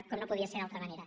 com no podia ser d’altra manera